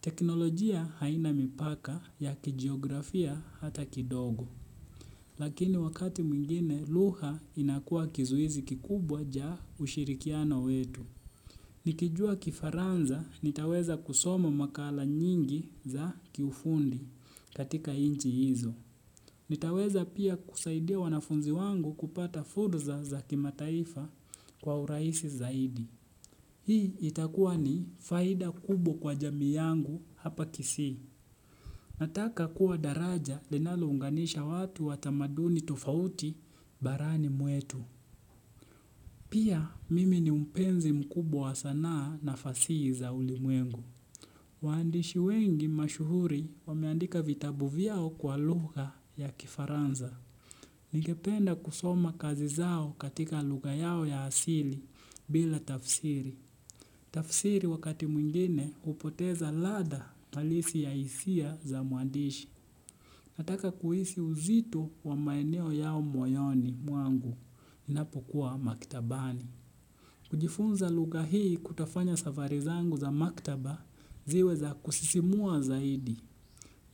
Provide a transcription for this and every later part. Teknolojia haina mipaka ya kijiografia hata kidogo. Lakini wakati mwingine lugha inakuwa kizuizi kikubwa ja ushirikiano wetu. Nikijua kifaransa nitaweza kusoma makala nyingi za kiufundi. Katika nchi hizo. Nitaweza pia kusaidia wanafunzi wangu kupata fursa za kimataifa kwa urahisi zaidi. Hii itakuwa ni faida kubwa kwa jamii yangu hapa Kisii. Nataka kuwa daraja linalounganisha watu watamaduni tofauti barani mwetu. Pia mimi ni mpenzi mkubwa wa sanaa na fasihi za ulimwengu. Waandishi wengi mashuhuri wameandika vitabu vyao kwa lugha ya kifaransa. Ningependa kusoma kazi zao katika lugha yao ya asili bila tafsiri. Tafsiri wakati mwingine hupoteza ladha alisi ya hisia za mwandishi. Nataka kuhisi uzito wa maeneo yao moyoni mwangu inapokuwa maktabani. Kujifunza lugha hii kutofanya safari zangu za maktaba ziwe za kusisimua zaidi.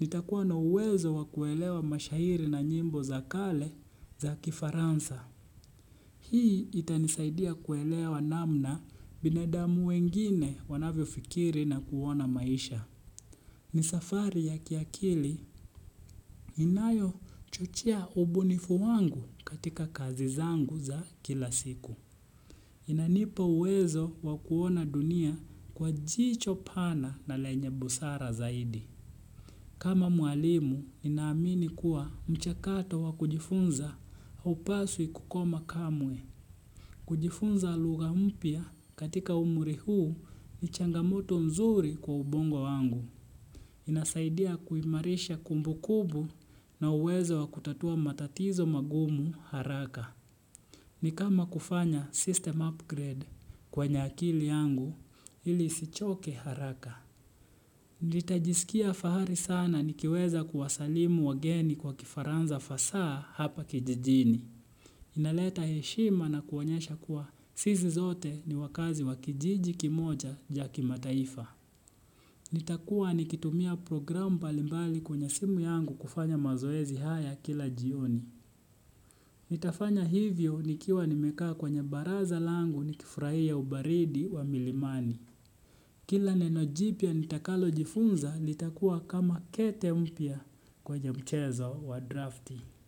Nitakuwa na uwezo wakuelewa mashahiri na nyimbo za kale za kifaransa. Hii itanisaidia kuelewa namna binadamu wengine wanavyofikiri na kuona maisha. Ni safari ya kiakili inayochuchia ubunifu wangu katika kazi zangu za kila siku. Inanipa uwezo wakuona dunia kwa jicho pana na lenye busara zaidi. Kama mwalimu, ninaamini kuwa mchakato wakujifunza haupaswi kukoma kamwe. Kujifunza lugha mpya katika umri huu ni changamoto mzuri kwa ubongo wangu. Inasaidia kuimarisha kumbukumbu na uwezo wa kutatua matatizo magumu haraka. Ni kama kufanya system upgrade kwenye akili yangu ili isichoke haraka. Nitajisikia fahari sana nikiweza kuwasalimu wageni kwa kifaransa fasaa hapa kijijini. Inaleta heshima na kuonyesha kuwa sisi zote ni wakazi wa kijiji kimoja ja kimataifa. Nitakuwa nikitumia program mbalimbali kwenye simu yangu kufanya mazoezi haya kila jioni. Nitafanya hivyo nikiwa nimekaa kwenye baraza langu nikifurahia ubaridi wa milimani. Kila neno jipya nitakalojifunza litakuwa kama kete mpya kwenye mchezo wa drafti.